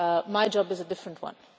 My job is a different one.